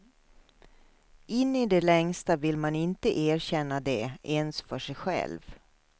In i det längsta vill man inte erkänna det ens för sig själv.